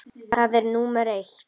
Það er númer eitt.